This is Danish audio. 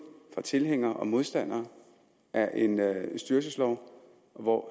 fra tilhængere og modstandere af en styrelseslov og hvor